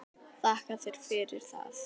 Þakka þér fyrir það.